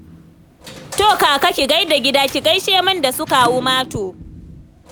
To Kaka ki gai da gida, ki gaishe min da su Kawu Mato